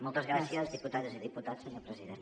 moltes gràcies diputades i diputats senyor president